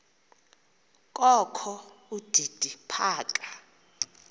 kokho udidi phaka